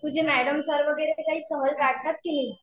तुझे madam sir वगैरे काही सहल काढतात की नाही?